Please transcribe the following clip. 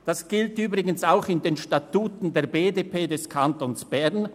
Das steht übrigens auch in den Statuten der BDP des Kantons Bern.